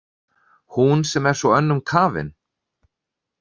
Hún sem er svo önnum kafin.